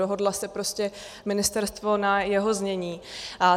Dohodlo se prostě ministerstvo na jeho znění.